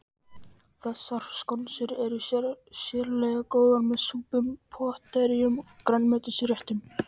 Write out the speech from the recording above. Þessar skonsur eru sérlega góðar með súpum, pottréttum og grænmetisréttum.